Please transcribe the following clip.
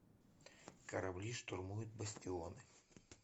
корабли штурмуют бастионы